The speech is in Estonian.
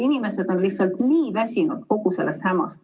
Inimesed on lihtsalt nii väsinud kogu sellest hämast.